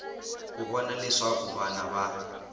ku vona leswaku vana va